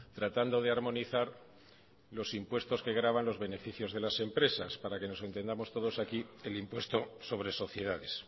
tratando de armonizar los impuestos que gravan los beneficios de las empresas para que nos entendamos todos aquí el impuesto sobre sociedades